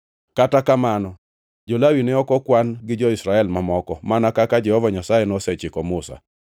Kata kamano, jo-Lawi ne ok okwan gi jo-Israel mamoko, mana kaka Jehova Nyasaye nosechiko Musa.